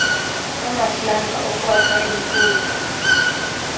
amaplanga okwakha imfuyo